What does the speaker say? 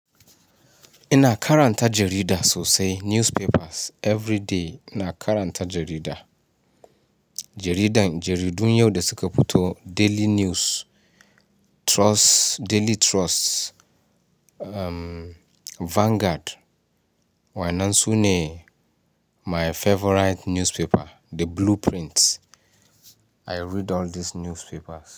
Ina karanta jarida sosai newspapers everyday ina karanta jarida. Jaridan jaridun yau da suka fito Daily News, Trust, Daily Trust, Vanguard. Waɗannan su ne my favourite newspaper, The Blueprint. I read all these newspapers.